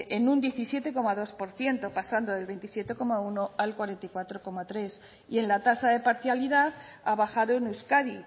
en un diecisiete coma dos por ciento pasando del veintisiete coma uno al cuarenta y cuatro coma tres y en la tasa de parcialidad ha bajado en euskadi